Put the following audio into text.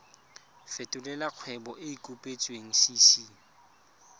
fetolela kgwebo e e kopetswengcc